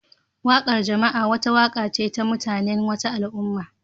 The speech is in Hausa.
Wakar jama'a wata waka ce ta mutanen wata al'umma